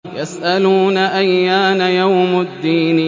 يَسْأَلُونَ أَيَّانَ يَوْمُ الدِّينِ